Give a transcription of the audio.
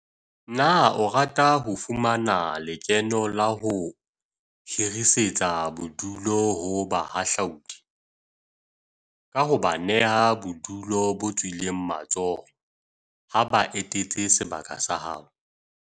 Na o rata ho fumana le keno ka ho hirisetsa bodulu ho bahahlaudi, ka ho ba neha bodulo bo tswileng matsoho ha ba etetse sebaka sa hao?